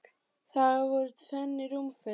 Þar af voru tvenn rúmföt.